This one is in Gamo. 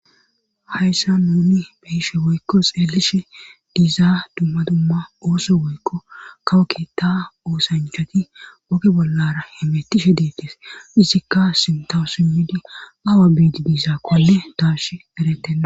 Hayssa nuni beyishe woykko xeelishe diizaa dumma dumma ooso woykko kawo keta oosanchati woge bollara hemetishe deettes izikka sintawo simmidi awa beidi diizaakkonne taas eretenna